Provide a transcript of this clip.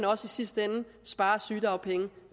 også i sidste ende spare sygedagpenge